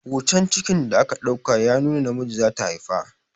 Hotan cikin da aka ɗauka ya nuna namiji zata haifa